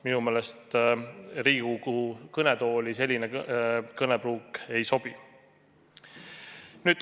Minu meelest Riigikogu kõnetooli selline kõnepruuk ei sobi.